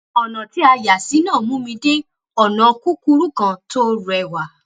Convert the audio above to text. ònà tí a yà sí náà mú mi dé ònà kúkúrú kan tó réwà